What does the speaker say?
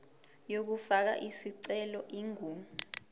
yokufaka isicelo ingu